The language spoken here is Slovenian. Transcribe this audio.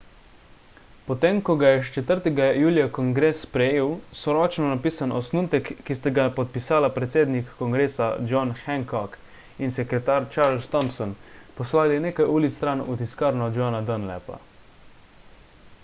potem ko ga je 4 julija kongres sprejel so ročno napisan osnutek ki sta ga podpisala predsednik kongresa john hancock in sekretar charles thomson poslali nekaj ulic stran v tiskarno johna dunlapa